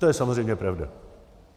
To je samozřejmě pravda.